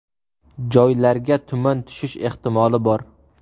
Joylarga tuman tushish ehtimoli bor.